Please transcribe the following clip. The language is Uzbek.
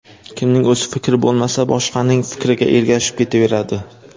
Kimning o‘z fikri bo‘lmasa, boshqaning fikriga ergashib ketaveradi.